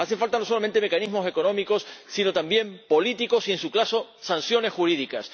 Hacen falta no solamente mecanismos económicos, sino también políticos y, en su caso, sanciones jurídicas.